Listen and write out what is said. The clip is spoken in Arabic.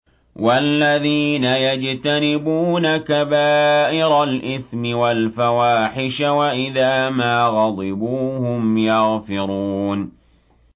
وَالَّذِينَ يَجْتَنِبُونَ كَبَائِرَ الْإِثْمِ وَالْفَوَاحِشَ وَإِذَا مَا غَضِبُوا هُمْ يَغْفِرُونَ